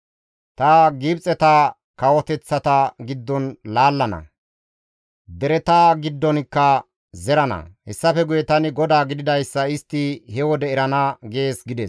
Ta Gibxeta kawoteththata giddon laallana; dereta giddonkka zerana; hessafe guye tani GODAA gididayssa istti he wode erana› gees» gides.